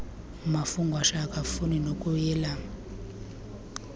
mafungwashe akafuni nokuyelam